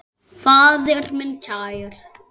Faðir minn kær.